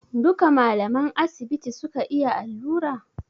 Duka malaman asibiti suka iya allura?